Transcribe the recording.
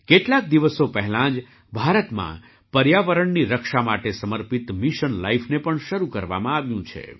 કેટલાક દિવસો પહેલાં જ ભારતમાં પર્યાવરણની રક્ષા માટે સમર્પિત મિશન લાઇફને પણ શરૂ કરવામાં આવ્યું છે